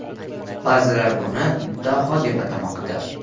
Ba’zilar uni daho deb atamoqda.